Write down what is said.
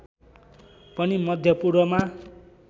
पनि मध्य पूर्वमा